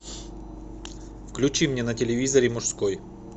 включи мне на телевизоре мужской